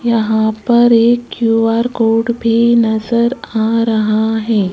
यहां पर Q R code नजर आ रहा है।